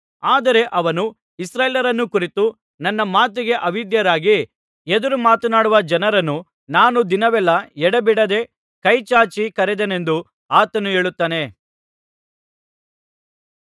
ಆದರೆ ಅವನು ಇಸ್ರಾಯೇಲ್ಯರನ್ನು ಕುರಿತು ನನ್ನ ಮಾತಿಗೆ ಅವಿಧೇಯರಾಗಿ ಎದುರುಮಾತನಾಡುವ ಜನರನ್ನು ನಾನು ದಿನವೆಲ್ಲಾ ಎಡೆಬಿಡದೆ ಕೈ ಚಾಚಿ ಕರೆದೆನೆಂದು ಆತನು ಹೇಳುತ್ತಾನೆ